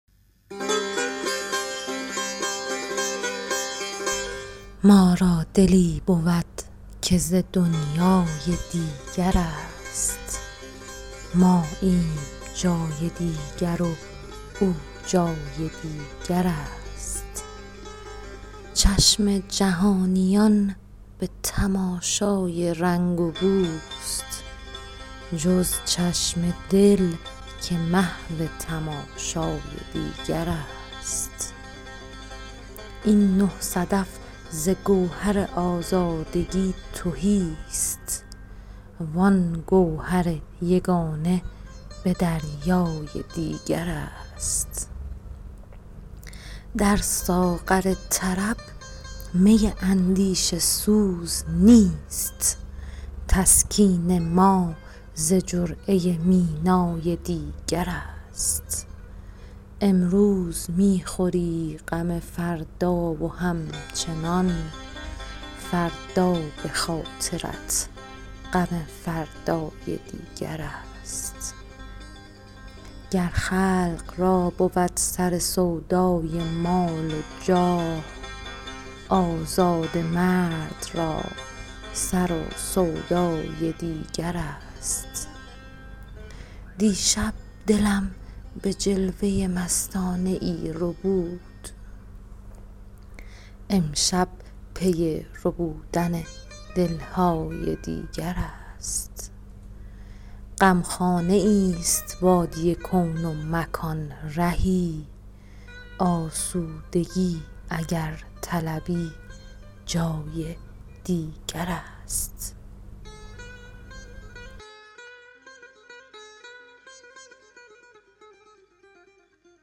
ما را دلی بود که ز دنیای دیگر است ماییم جای دیگر و او جای دیگر است چشم جهانیان به تماشای رنگ و بوست جز چشم دل که محو تماشای دیگر است این نه صدف ز گوهر آزادگی تهی است وآن گوهر یگانه به دریای دیگر است در ساغر طرب می اندیشه سوز نیست تسکین ما ز جرعه مینای دیگر است امروز می خوری غم فردا و همچنان فردا به خاطرت غم فردای دیگر است گر خلق را بود سر سودای مال و جاه آزاده مرد را سر و سودای دیگر است دیشب دلم به جلوه مستانه ای ربود امشب پی ربودن دل های دیگر است غمخانه ای ست وادی کون و مکان رهی آسودگی اگر طلبی جای دیگر است